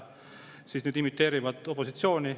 Nüüd nad imiteerivad opositsiooni.